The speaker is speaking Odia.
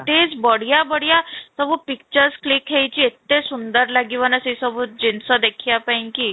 ତେ ବଢିଆ ବଢିଆ ସବୁ pictures click ହେଇଛି, ଏତେ ସୁନ୍ଦର ଲାଗିବ ନା ସେଇ ସବୁ ଜିନିଷ ଦେଖିବା ପାଇଁ କି